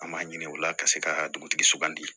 An m'a ɲini u la ka se ka dugutigi sugandi